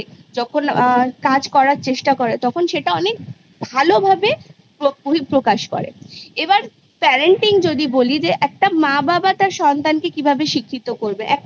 যখন আ কাজ করার চেষ্টা করে তখন সেটা অনেক ভালোভাবে প্র বহিঃপ্রকাশ করে এবার Parenting যদি বলি যে একটা মা বাবা তার সন্তানকে কিভাবে শিক্ষিত করবে